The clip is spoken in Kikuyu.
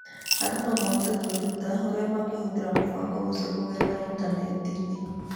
Andũ no mahote kwĩruta ũrĩa mangĩhũthĩra mũbango ũcio kũgerera initaneti.